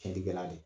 Fiɲɛ tigɛla de